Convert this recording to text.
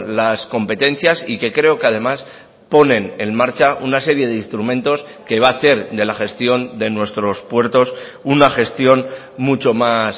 las competencias y que creo que además ponen en marcha una serie de instrumentos que va a hacer de la gestión de nuestros puertos una gestión mucho más